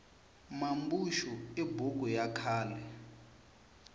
mambuxu i buku ya khale